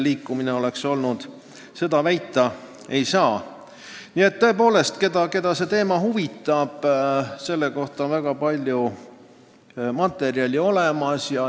Kui see teema kedagi huvitab, siis selle kohta on väga palju materjali olemas.